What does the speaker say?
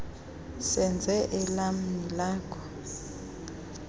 senze elam nelakho